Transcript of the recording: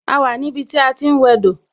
A wà ní ibi tí a ti ń wẹ dò